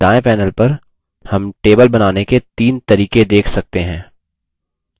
दायें panel पर हम table बनाने के तीन तरीके देख सकते हैं